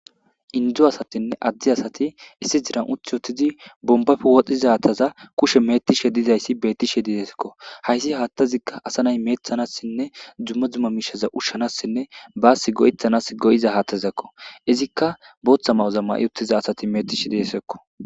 indu asatinne addi asati issi jiran uthi ottizi bombafe wodhdhizataza kushe metishe didayssi beettishe dideekko hayssi haattazikka asa nay meethanassinne jumma dzumma miishaza ushshanassinne baassi go7ethanas go7iza haathtazakko izikka booththa ma7ozamma i uttiza asati metishe didesekko